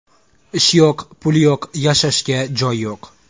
Ish yo‘q, pul yo‘q, yashashga joy yo‘q.